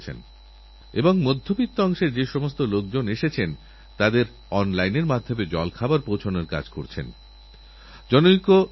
এটা আমারপ্রথম যাত্রা এবং যখনই বিদেশ যাত্রা হয় তখনই কূটনীতির কথা হয় শিল্পবাণিজ্যনিয়ে কথা হয় সুরক্ষা নিয়ে আলোচনা হয় কখনো মউ সাক্ষরিত হয় এই সবকিছুই তো হওয়াচাই